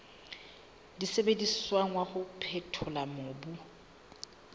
sebediswang wa ho phethola mobu